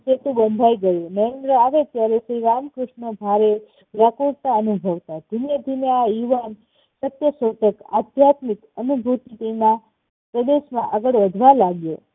બંધાઈ ગયું. નરેન્દ્ર આવે ત્યારે શ્રી રામકૃષ્ણ ભારે વ્યાકુળતા અનુભવતા. ધીમે ધીમે આ યુવાન સત્યશોધક, આધ્યાત્મિક અને બુદ્ધિ ના પ્રદેશ માં આગળ વધવા લાગ્યો.